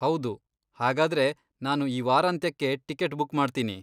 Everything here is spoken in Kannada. ಹೌದು, ಹಾಗಾದ್ರೆ ನಾನು ಈ ವಾರಾಂತ್ಯಕ್ಕೆ ಟಿಕೆಟ್ ಬುಕ್ ಮಾಡ್ತೀನಿ.